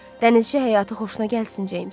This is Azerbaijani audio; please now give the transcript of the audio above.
Dənizçi həyatı xoşuna gəlsin, Cems.